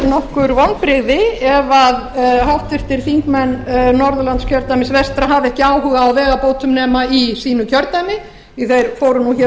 nokkur vonbrigði ef háttvirtir þingmenn norðurlandskjördæmis vestra hafa ekki áhuga á vegabótum nema í sínu kjördæmi því þeir fóru